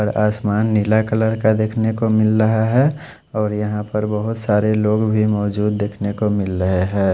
और आसमान नीला कलर का देखने को मिल रहा है और यहाँ पर बहत सारे लोग भी मौजूद है देख ने को मिल रहा है।